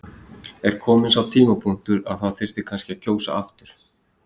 Er kominn sá tímapunktur að það þyrfti kannski að kjósa aftur?